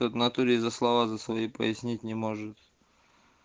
в натуре за слова за свои пояснить не может